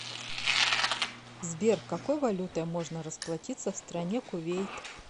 сбер какой валютой можно расплатиться в стране кувейт